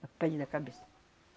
A pele da cabeça.